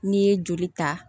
N'i ye joli ta